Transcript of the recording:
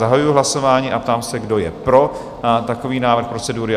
Zahajuji hlasování a ptám se, kdo je pro takový návrh procedury?